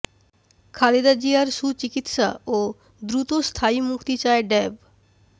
খালেদা জিয়ার সুচিকিৎসা ও দ্রুত স্থায়ী মুক্তি চায় ড্যাব